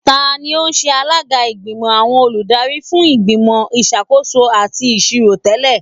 Tani o ṣe alaga igbimọ awọn oludari fun Igbimọ Isakoso ati Iṣiro tẹlẹ?